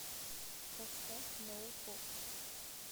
поставь ноу поп